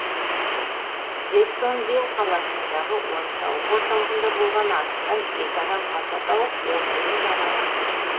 джексонвилл қаласындағы ойын сауық орталығында болған атыстан екі адам қаза тауып он бірі жараланды